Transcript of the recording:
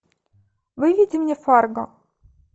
выведи мне фарго